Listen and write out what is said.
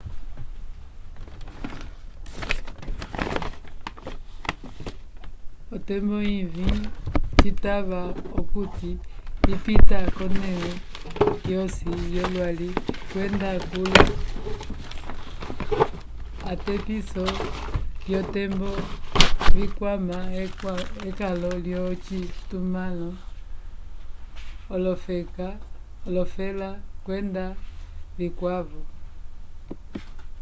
otembo ivĩ citava okuti ipita k'onẽle yosi yolwali kwenda kuli atepiso vyotembo vikwama ekalo lyocitumãlo olofela kwenda vikwavo